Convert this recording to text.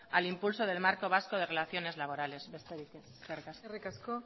al impulso del marco vasco de relaciones laborales besterik ez eskerrik asko